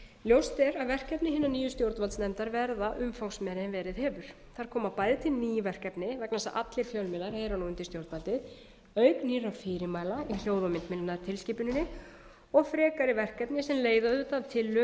ljóst er að verkefni hinnar nýju stjórnvaldsnefndar verða umfangsmeiri en verið hefur þar koma bæði til ný verkefni vegna þess að allir fjölmiðlar eru nú undir stjórnvaldi auk nýrra fyrirmæla með hljóð og myndmiðlunartilskipuninni og frekari verkefni sem leiða auðvitað af tilurð